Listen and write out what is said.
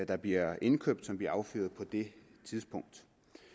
der bliver indkøbt som bliver affyret på det tidspunkt